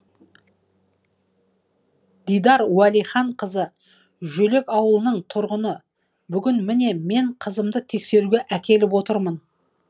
дидар уәлиханқызы жөлек ауылының тұрғыны бүгін міне мен қызымды тексеруге әкеліп отырмын